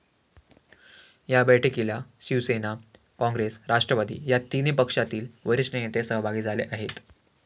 या बैठकीला शिवसेना, काँग्रेस, राष्ट्रवादी या तिन्ही पक्षातील वरिष्ठ नेते सहभागी झाले आहेत.